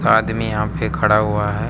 आदमी यहां पे खड़ा हुआ है।